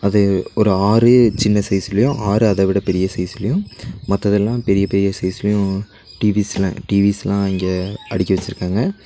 இது ஒரு ஆறு சின்ன சைஸ்லியு ஆறு அத விட பெரிய சைஸ்லியும் மத்ததல்லா பெரிய பெரிய சைஸ்லயு டி_விஸ்லா டி_விஸ்லா இங்க அடுக்கி வச்சுருக்காங்க.